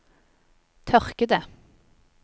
tørkede